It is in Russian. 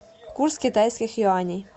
курс китайских юаней